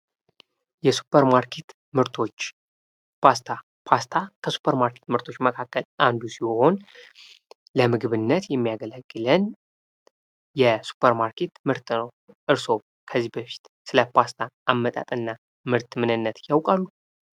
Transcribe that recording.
የሱፐር ማርኬት ምርቶች ፓስታ፤ ፓስታ ከሱፐር ማርኬት ምርቶች አንዱ ሲሆን ለምግብነት የሚያገለግለን የሱፐር ማርኬት ምርት ነው። እርሶ ከዚህ በፊት ስለ ፓስታ አመጣጥ እና ምርት ምንነት ያውቃሉ?